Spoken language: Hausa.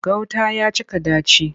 Gauta ya cika ɗaci.